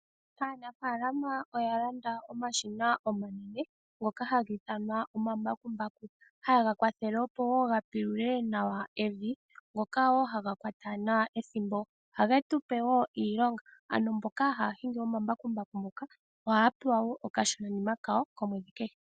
Aanafalama oya landa omashina omanene ngoka ha ga ithanwa omambakumbaku, haye ga kwathele opo wo ga pulule nawa evi, ngoka wo haga kwata nawa ethimbo. Ohage tupe woo iilonga, ano mboka haya hingi omambakumbaku muka, ohaya pewa wo okashinanima kawo komwedhi kehe.